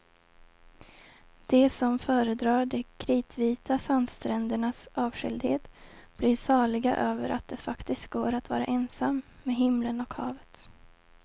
De som föredrar de kritvita sandsträndernas avskildhet blir saliga över att det faktiskt går att vara ensam med himlen och havet.